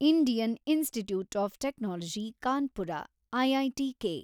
Indian Institute of Technology Kanpur IITK